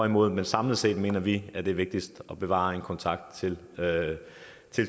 imod men samlet set mener vi at det er vigtigst at bevare en kontakt til